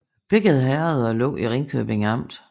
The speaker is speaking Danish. Begge herreder lå i Ringkøbing Amt